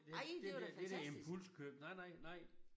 Det det der det der impulskøb nej nej nej